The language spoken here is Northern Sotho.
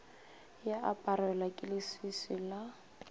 ya aparelwa ke leswiswi la